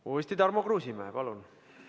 Uuesti Tarmo Kruusimäe, palun!